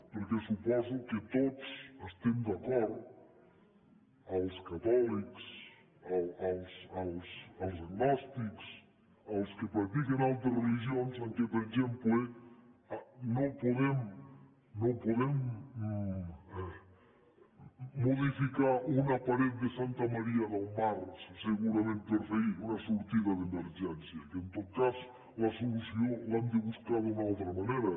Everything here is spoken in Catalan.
perquè suposo que tots estem d’acord els catòlics els agnòstics els que practiquen altres religions que per exemple no podem modificar una paret de santa maria del mar segurament per fer hi una sortida d’emergència que en tot cas la solució l’hem de buscar d’una altra manera